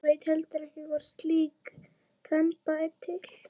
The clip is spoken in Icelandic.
Veit heldur ekki hvort slík þemba er til.